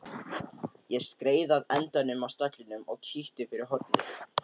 Ég skreið að endanum á stallinum og kíkti fyrir hornið.